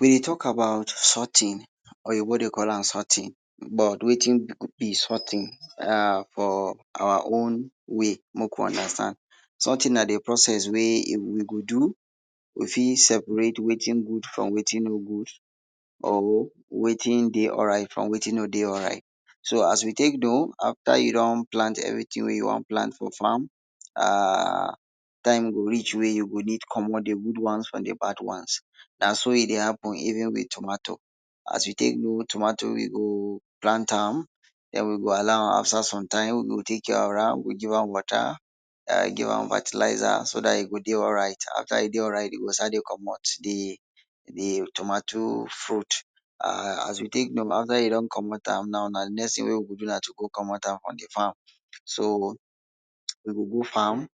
We dey talk about sorting. Oyinbo dey call am sorting, but, wetin go be sorting? um for our own way, mek we understand sorting na de process wey we go do, we fit separate wetin good from wetin no good or wetin dey alright from wetin no dey alright. So, as we tek do, afta you don plant wetin you wan plant for farm, um time go reach wey you go need commot de good ones from de bad ones. Na so e dey happen, even wit tomato. As you dey grow tomato, you go plant am, den, you go allow am afta some time, we go we give am water um we give am fertilizer so dat e go dey alright afta e dey alright, you go start to commot de, de tomato fruit um as you tek know, afta you don commot am now, de next tin wey you go do na to go commot am from de farm, so, we go go farm,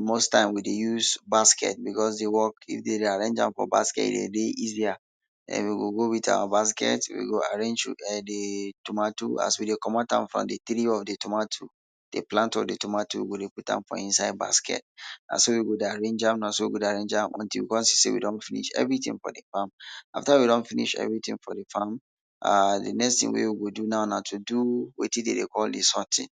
most time, we dey use basket because the work, if de arrange am for basket, e dey dey easier um we go go wit our basket, we go arrange am, na so we go dey arrange am until we come see say we don finish everytin for de farm. Afta we don finish everytin for de farm, um de next tin wey we go do now na to do wetin dem dey call de sorting.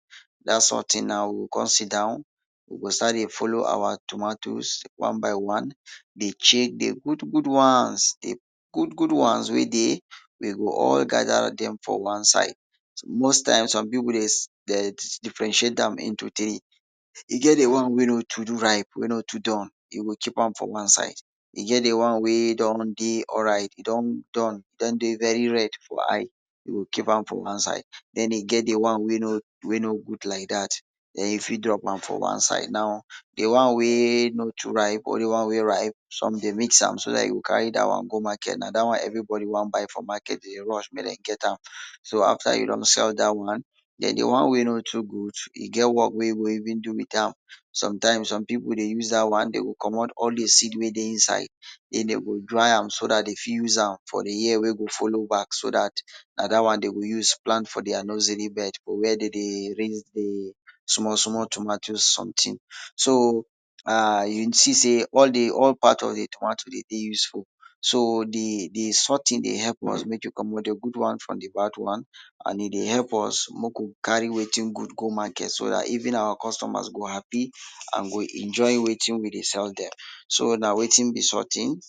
Dat sorting now, we go come sit down, we go start dey follow our tomatoes one by one, dey check de good, good ones. De good, good ones wey dey, we go all gather dem for one side. Most times, some pipu differentiate am into three, e get de one wey no too ripe, wey no too done, you go chip am for one side. E get de one wey don dey alright, don done, don dey very red for eye, you go keep am for one side, den, e get de one wey no, wey no good like dat, den, you fit drop am for one side, now, de one wey no too ripe, both de one wey ripe, some dey mix am so dat you go carry dat one go market, na dat one everybody wan buy for market dey rush mek dem get am. So, afta you don sell dat one, den, de one wey no too good, e get work wey e go even do with am. Sometimes, some pipu dey use dat one dem go commot all de seed wey dey inside say dem go dry am so dat de fit use am for de year wey go follow back, so dat na dat one dem go use plant for dia nursery bed for where dem dey small, small tomatoes sometin, so, um you think say all de, all part of de tomatoes dey dey useful, so, de, de sometin dey help us mek we commot de good ones from de bad ones and e dey help us mek we carry wetin good go market so dat even our customers go happy an go enjoy wetin we dey sell dem, so, na wetin be sorting.